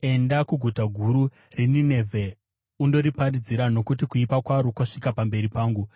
“Enda kuguta guru reNinevhe undoriparidzira, nokuti kuipa kwaro kwasvika pamberi pangu.”